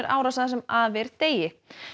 árásir það sem af er degi